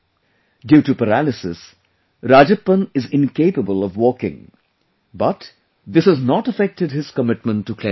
Due to paralysis, Rajappan is incapable of walking, but this has not affected his commitment to cleanliness